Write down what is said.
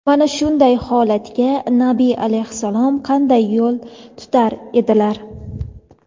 mana shunday holatga Nabiy alayhissalom qanday yo‘l tutar edilar?.